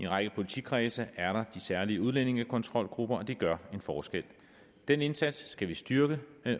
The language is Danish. række politikredse er der de særlige udlændingekontrolgrupper det gør en forskel og den indsats skal vi styrke